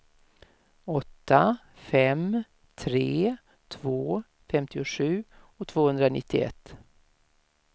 åtta fem tre två femtiosju tvåhundranittioett